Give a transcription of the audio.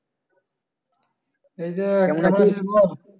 এই যে কেমন আছিস?